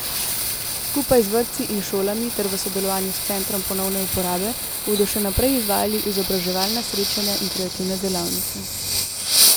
Skupaj z vrtci in šolami ter v sodelovanju s centrom ponovne uporabe bodo še naprej izvajali izobraževalna srečanja in kreativne delavnice.